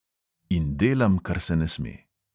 In delam, kar se ne sme.